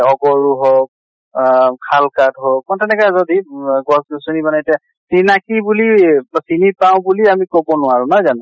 অকৰু হৌক অহ শাল আঠ হৌক মানে তেনেকে যদি ৱ গছ গছ্নি মানে এতিয়া চিনাকী বুলি বা চিনি পাওঁ বুলি আমি কʼব নোৱাৰো। নহয় জানো?